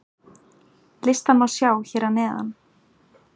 Listann má sjá hér að neðan.